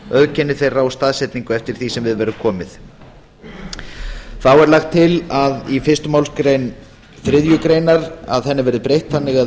auðkenni þeirra og staðsetningu eftir því sem við verður komið þá er lagt til að fyrstu málsgrein þriðju grein verði breytt þannig að